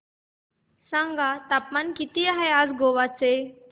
सांगा तापमान किती आहे आज गोवा चे